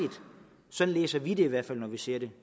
sådan læser vi det i hvert fald når vi ser det